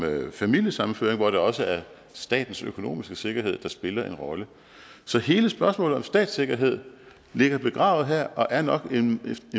familiesammenføring hvor det også er statens økonomiske sikkerhed der spiller en rolle så hele spørgsmålet om statssikkerhed ligger begravet her og er nok en